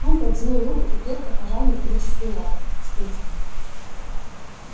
он протянул руку и крепко пожал металлическую лапу спиди